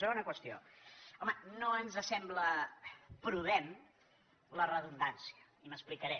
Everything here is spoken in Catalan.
segona qüestió home no ens sembla prudent la redundància i m’explicaré